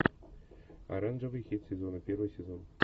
оранжевый хит сезона первый сезон